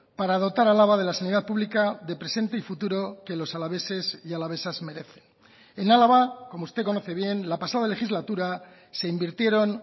para dotar a álava de la sanidad pública de presente y futuro que los alaveses y alavesas merecen en álava como usted conoce bien la pasada legislatura se invirtieron